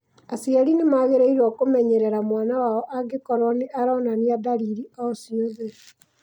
Aciari nĩ magĩrĩirũo kũmenyerera mwana wao angĩkorũo nĩ aronania ndariri o ciothe.